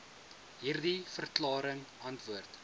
hierdie verklaring antwoord